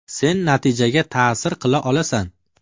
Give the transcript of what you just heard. Sen natijaga ta’sir qila olasan.